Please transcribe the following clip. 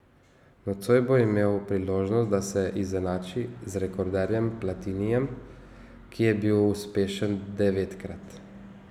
Nocoj bo imel priložnost, da se izenači z rekorderjem Platinijem, ki je bil uspešen devetkrat.